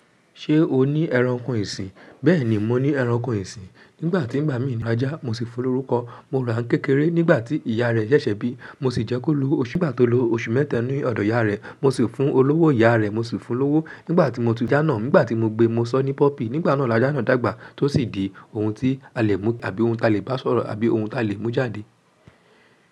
Ṣé o ní ẹranko ìsìn? Bẹ́ẹ̀ ni, mo ní ẹranko ìsìn. Nígbà tí ń bá mi nu ajá, mo sì fún lórúkọ. Mo ràán kékeré nígbà tí ìyá rẹ ṣẹ̀ṣẹ̀ bí. Mo sì jẹ́ kó lu òṣù bá tó lo oṣù mẹ́ta nínú ọ̀dọ̀ ìyá rẹ. Mo sì fún olówó ìyá rẹ̀. Mo sì fún lówó nígbà tí mo tu jánà. Nígbà tí mo gbé, mo sọ ní puppy. Nígbà náà lajá nàa dàgbà tó sì di ohun tí a lè múta àbí ohun tí a lè bá sọ̀rọ̀ àbí ohun tí a lè mú jáde.